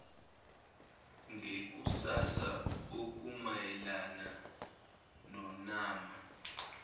ngekusasa okumayelana nonama